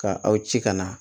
Ka aw ci ka na